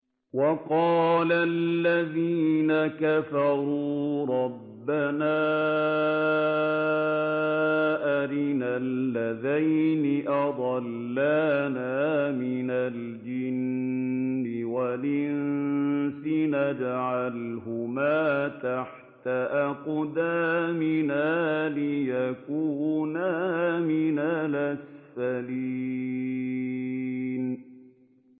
وَقَالَ الَّذِينَ كَفَرُوا رَبَّنَا أَرِنَا اللَّذَيْنِ أَضَلَّانَا مِنَ الْجِنِّ وَالْإِنسِ نَجْعَلْهُمَا تَحْتَ أَقْدَامِنَا لِيَكُونَا مِنَ الْأَسْفَلِينَ